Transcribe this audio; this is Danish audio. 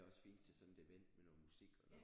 Det er også fint til sådan et event med noget musik og noget